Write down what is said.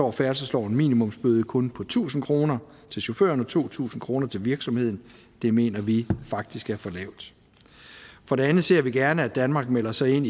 er færdselslovens minimumsbøde kun på tusind kroner til chaufføren og to tusind kroner til virksomheden det mener vi faktisk er for lavt for det andet ser vi gerne at danmark melder sig ind